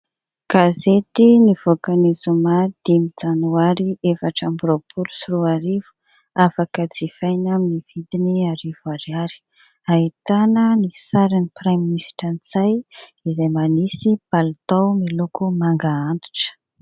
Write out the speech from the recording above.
Gazety nivoaka ny zoma dimy janoary efatra amby roapolo sy roa arivo, afaka jifaina amin'ny vidiny arivo ariary, ahitana ny sarin'ny praiminisitra Ntsay izay manisy palitao miloko manga antitra.